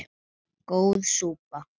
Góð súpa